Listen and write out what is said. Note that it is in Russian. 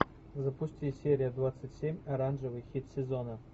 запусти серия двадцать семь оранжевый хит сезона